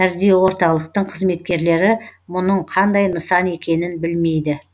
кардиорталықтың қызметкерлері мұның қандай нысан екенін білмейді